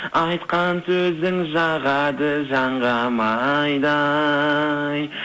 айтқан сөзің жағады жанға майдай